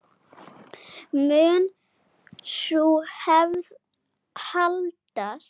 Mun sú hefð haldast?